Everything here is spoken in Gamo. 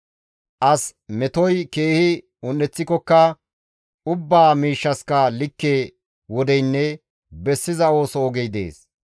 As metoy keehi un7eththikokka ubbaa miishshaska likke wodeynne bessiza ooso ogey dees.